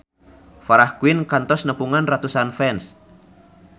Farah Quinn kantos nepungan ratusan fans